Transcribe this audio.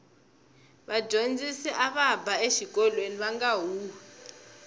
vadyondzisi ava ba exikolweni vanga huhwi